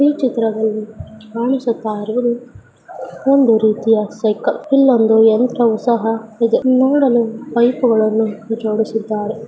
ಚಿತ್ರದಲ್ಲಿ ಕಾಣಿಸುತ್ತಇರೋದು ಒಂದು ರೀತಿಯ ಸೈಕಲ್ ಇಲೊಂದು ಯಂತ್ರವು ಸಹ ಇದೆ ನೋಡಲು ಪೈಪ್ಗಳನ್ನು ಜೋಡಿಸಿಧಾರೆ .